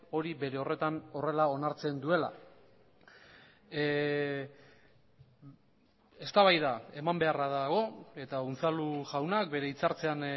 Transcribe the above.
hori bere horretan horrela onartzen duela eztabaida eman beharra dago eta unzalu jaunak bere hitzartzean